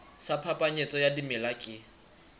sa phapanyetso ya dimela ke